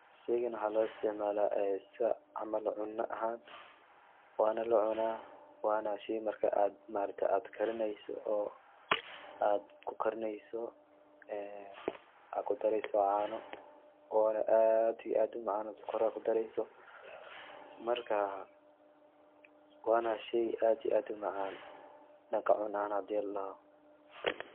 Sheygan waxaa loo isticmaala en sida camal cuna ahan, wana la cuna wana shey marka ma aragte ad karineyso adku karineyso ee ad kudareyso caano ona aad iyo aad umacaan od sokor aa kudareyso, marka wana shey aad iyo aad umacaan dhanka cuna ahan hadi ladhoho